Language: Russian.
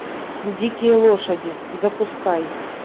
дикие лошади запускай